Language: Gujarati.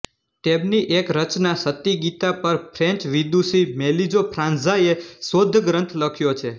તેમની એક રચના સતિગીતા પર ફ્રેન્ચ વિદુષી મેલીજો ફ્રાંજવા ઍ શોધગ્રન્થ લખ્યો છે